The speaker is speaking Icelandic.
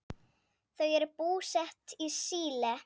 Þau eru búsett í Síle.